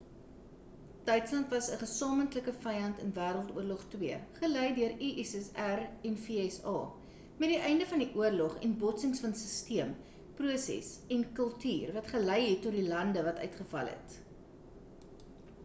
duitsland was 'n gesamentlike vyand in wêreldoorlog 2 gelei deur die ussr en vsa met die einde van die oorlog en botsings van sisteem proses en kultuur wat gelei het tot die lande wat uitgeval het